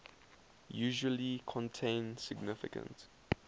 usually contain significant